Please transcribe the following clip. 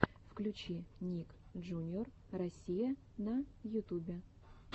включи ник джуниор россия на ютюбе